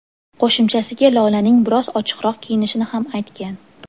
Qo‘shimchasiga Lolaning biroz ochiqroq kiyinishini ham aytgan.